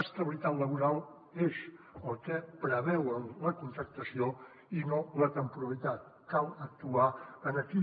estabilitat laboral és el que preveu la contractació i no la temporalitat cal actuar aquí